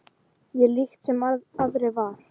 Ég líkt sem aðrir var.